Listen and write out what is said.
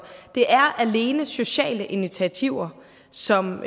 det er alene sociale initiativer som